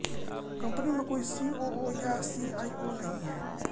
company में कोई COO या सीआईओ नहीं है